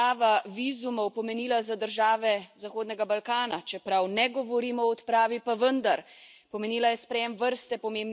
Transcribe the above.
Naj spomnim le, kaj je odprava vizumov pomenila za države Zahodnega Balkana, čeprav ne govorimo o odpravi, pa vendar.